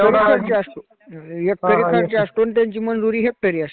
एकरी खर्च असतो आणि त्यांची मंजुरी हेक्टरी असते.